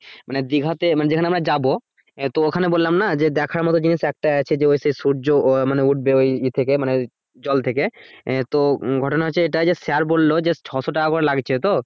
মানে দিঘাতে মানে যেখানে আমরা যাবো তো ওখানে বললাম যে দেখার মতো একটাই আছে যে ওই যে সূর্য আহ মানে উঠবে ইয়ে থেকে মানে জল থেকে আহ তো ঘটনা হচ্ছে এটাই যে স্যার বলল যে ছয়শ টাকা করে লাগছে তো